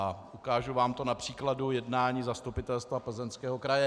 A ukážu vám to na příkladu jednání Zastupitelstva Plzeňského kraje.